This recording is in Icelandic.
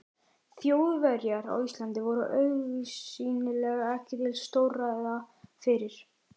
Þjóðverjar á Íslandi voru augsýnilega ekki til stórræða fyrir